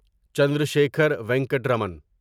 Chandrasekhara Venkata Raman